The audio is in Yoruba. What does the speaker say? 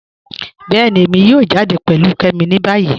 Bẹẹ̀ni, èmi yóò jáde pẹ̀lú Kẹ́mi ni bayí.